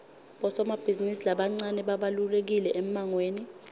bosomabhizimisi labancane babalulekile emangweni